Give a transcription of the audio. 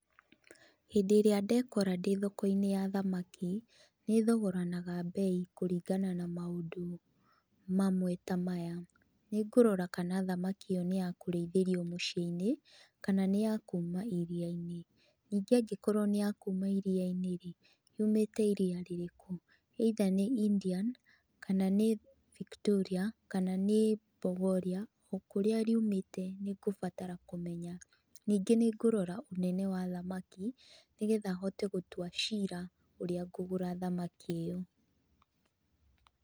Hīndī īrīa ndekora ndī thoko-īni ya thamaki, nīthogoranaga mbei kuringana na maundu mamwe ta maya. Nīngurora kana thamaki īyo nī ya kurīithīrio muciī-inī kana nī ya kuuma iria-inī. Ningī angīkorwo nī ya kuuma iria-inī rīī, uumīte iria-inī rirīku? Either nī Indian kana nī Victoria kana nī Bogoria o kurīa uumīte nī ngubatara kumenya. Ningī nīngurora unene wa thamaki nīgetha hote gutua cira urīa ngugura thamaki īyo.